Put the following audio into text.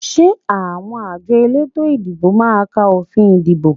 Ṣé àwọn àjọ elétò ìdìbò máa ka òfin ìdìbò?